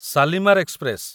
Shalimar express